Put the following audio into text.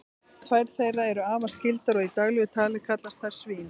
tvær þeirra eru afar skyldar og í daglegu tali kallast þær svín